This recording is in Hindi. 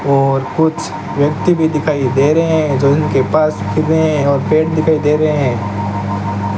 और कुछ व्यक्ति भी दिखाई दे रहे हैं जो उनके पास फिर रहे हैं और पेड़ दिखाई दे रहे हैं।